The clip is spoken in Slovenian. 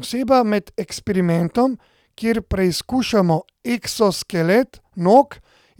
Oseba med eksperimentom, kjer preizkušamo eksoskelet nog